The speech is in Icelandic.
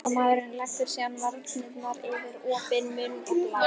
Hjálparmaðurinn legur síðan varirnar yfir opinn munninn og blæs.